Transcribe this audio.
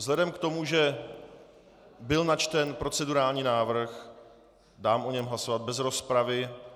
Vzhledem k tomu, že byl načten procedurální návrh, dám o něm hlasovat bez rozpravy.